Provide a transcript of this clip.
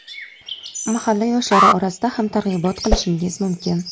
mahalla yoshlari orasida ham targ‘ibot qilishingiz mumkin.